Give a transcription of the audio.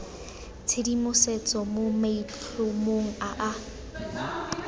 tshedimosetso mo maitlhomong a a